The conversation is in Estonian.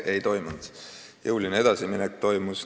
Ei toimunud, jõuline edasiminek toimus.